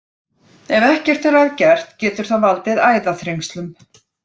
Ef ekkert er að gert getur það valdið æðaþrengslum.